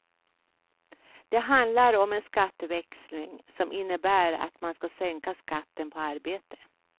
Det handlar om en skatteväxling, som innebär att man kan sänka skatten på arbete.